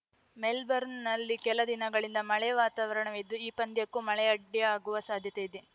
ಮೆಲ್ಬರ್ನ್‌ನಲ್ಲಿ ಕೆಲ ದಿನಗಳಿಂದ ಮಳೆ ವಾತಾವರಣವಿದ್ದು ಈ ಪಂದ್ಯಕ್ಕೂ ಮಳೆ ಅಡ್ಡಿಯಾಗುವ ಸಾಧ್ಯತೆ ಇದೆ